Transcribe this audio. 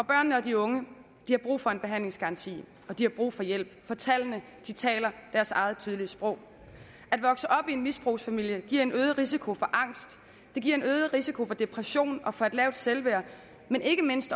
børnene og de unge har brug for en behandlingsgaranti og de har brug for hjælp for tallene taler deres eget tydelige sprog at vokse op i en misbrugsfamilie giver en øget risiko for angst det giver en øget risiko for depression og for et lavt selvværd men ikke mindst